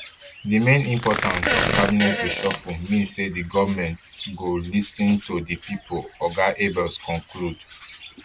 di main importance of cabinet reshuffle mean say di goment dey lis ten to di pipo oga abels conclude